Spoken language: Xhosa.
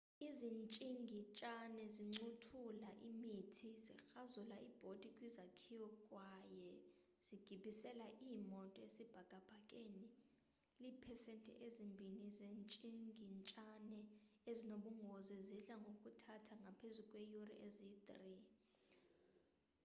izitshingitshane zincothulaa imithi zikrazula iibhodi kwizakhiwo kwaye zigibisela iimoto esibhakabhakeni iipesenti ezimbini zezitshingitshane ezinobungozi zidla ngokuthatha ngaphezu kweeyure eziyi-3